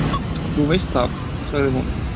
"""Þú veist það, sagði hún."""